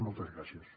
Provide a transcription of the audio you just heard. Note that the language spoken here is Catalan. i moltes gràcies